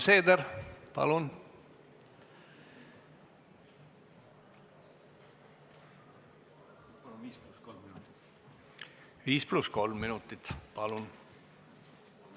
Helir-Valdor Seeder, 5 + 3 minutit, palun!